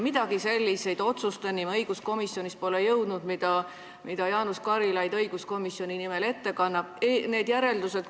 Sellistele otsustele, mida Jaanus Karilaid õiguskomisjoni nimel ette kannab, me õiguskomisjonis ei jõudnud.